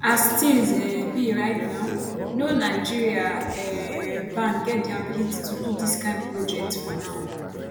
as tins um be right now no nigeria um bank get di ability to do dis kain projects for now